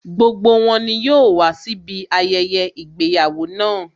Gbogbo wọn ni yóò wàá síbi ayẹyẹ ìgbéyàwó náà